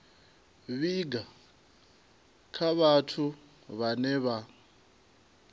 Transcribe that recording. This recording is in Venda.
vhiga kha vhathu vhane vha